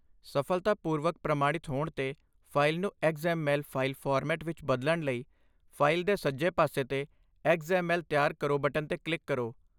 ਸਫਲਤਾਪੂਰਵਕ ਪ੍ਰਮਾਣਿਤ ਹੋਣ 'ਤੇ, ਫਾਈਲ ਨੂੰ ਐਕਸ.ਐਮ.ਐਲ. ਫਾਈਲ ਫਾਰਮੈਟ ਵਿੱਚ ਬਦਲਣ ਲਈ ਫਾਈਲ ਦੇ ਸੱਜੇ ਪਾਸੇ 'ਤੇ 'ਐਕਸ.ਐਮ.ਐਲ. ਤਿਆਰ ਕਰੋ' ਬਟਨ 'ਤੇ ਕਲਿੱਕ ਕਰੋ।